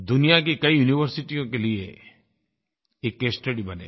दुनिया की कई युनिवर्सिटियों के लिए एक केस स्टडी बनेगा